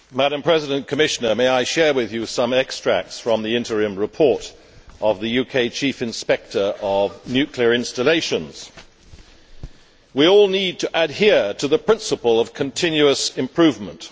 Madam President, I would like to share with you some extracts from the interim report of the UK Chief Inspector of Nuclear Installations we all need to adhere to the principal of continuous improvement.